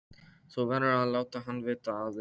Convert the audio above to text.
Þú verður að láta hann vita af þér.